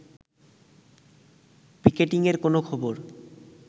পিকেটিংয়ের কোনো খবর